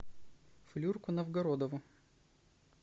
флюрку новгородову